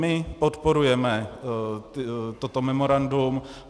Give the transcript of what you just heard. My podporujeme toto memorandum.